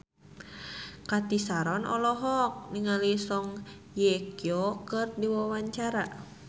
Cathy Sharon olohok ningali Song Hye Kyo keur diwawancara